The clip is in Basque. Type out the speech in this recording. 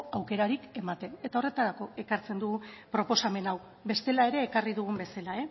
aukerarik ematen eta horretarako ekartzen dugu proposamen hau bestela ere ekarri dugun bezala